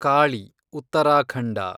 Kali , Uttarakhand